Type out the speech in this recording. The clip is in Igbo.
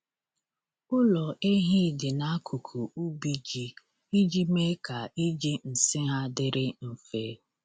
Ụlọ ehi dị n’akụkụ ubi ji iji mee ka iji nsị ha dịrị mfe.